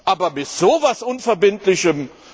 Aber mit so etwas Unverbindlichem!